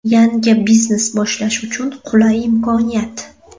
Yangi biznes boshlash uchun qulay imkoniyat!.